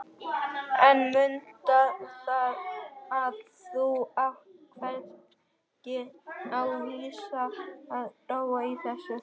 En mundu það að þú átt hvergi á vísan að róa í þessu.